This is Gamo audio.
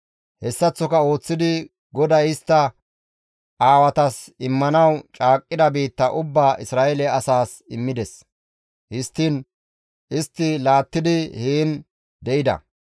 Hessaththo ooththidi GODAY istta aawatas immanaas caaqqida biitta ubbaa Isra7eele asaas immides; histtiin istti laattidi heen de7ida.